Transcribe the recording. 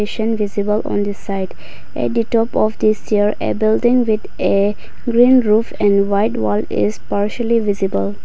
we can visible on the site a detop of this year a building with a green roof and white wall is partially visible.